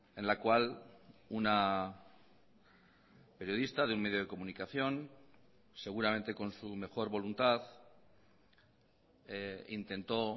en la cual una periodista de un medio de comunicación seguramente con su mejor voluntad intentó